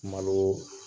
Malo